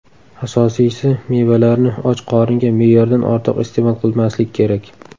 Asosiysi, mevalarni och qoringa me’yordan ortiq iste’mol qilmaslik kerak.